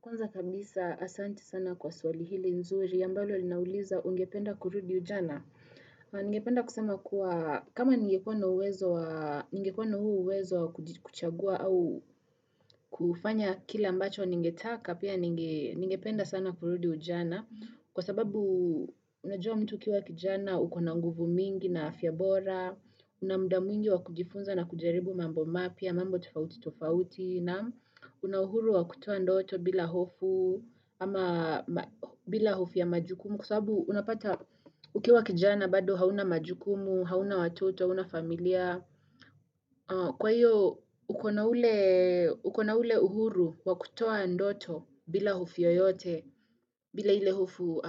Kwanza kabisa asanti sana kwa swali hili nzuri, ambalo linauliza ungependa kurudi ujana. Ningependa kusema kuwa kama ningekua na huo uwezo wa kuchagua au kufanya kila ambacho ningependa sana kurudi ujana. Kwa sababu unajua mtu ukiwa kijana, ukona nguvu mingi na afya bora, una muda mwingi wa kujifunza na kujaribu mambo mapya, mambo tofauti tofauti, na una uhuru wa kutoa ndoto bila hofu ama bila hofu ya majukumu kwa sababu unapata ukiwa kijana bado hauna majukumu hauna watoto, hauna familia kwa hiyo ukona ule uhuru wa kutoa ndoto bila hofu yoyote bila ile hofu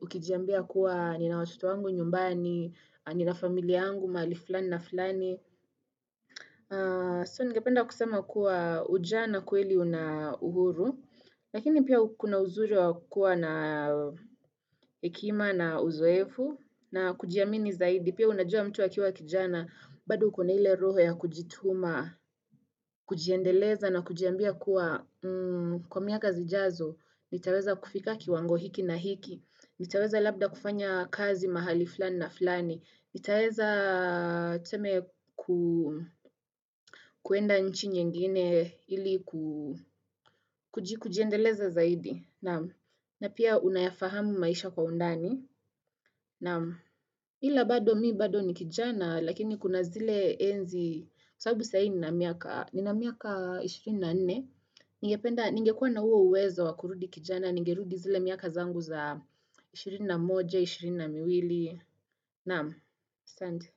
ukijambia kuwa nina watoto wangu nyumbani nina familia yangu mahali fulani na fulani So ningependa kusema kuwa ujana kweli una uhuru Lakini pia kuna uzuri wa kuwa na hekima na uzoefu na kujiamini zaidi pia unajua mtu akiwa kijana bado ukona ile roho ya kujituma, kujiendeleza na kujiambia kuwa Kwa miaka zijazo, nitaweza kufika kiwango hiki na hiki nitaweza labda kufanya kazi mahali fulani na fulani nitaweza tuseme kuenda nchi nyingine ili kujiendeleza zaidi. Na pia unayafahamu maisha kwa undani. Ila bado mi bado ni kijana lakini kuna zile enzi. Sababu sai nina miaka. Nina miaka 24. Ningependa ningekuwa na huo uwezo wa kurudi kijana. Ningerudi zile miaka zangu za 21, 22. Naam asante.